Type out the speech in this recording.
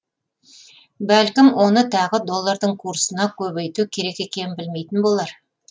бәлкім оны тағы доллардың курсына көбейту керек екенін білмейтін болар